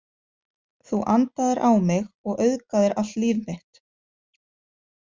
Þú andaðir á mig og augðaðir allt líf mitt.